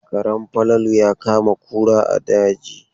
Karen Falalu ya kama kura a daji.